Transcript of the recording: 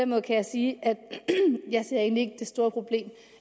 måde kan jeg sige at jeg egentlig ikke det store problem